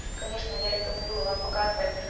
конечно я рекомендую вам показывать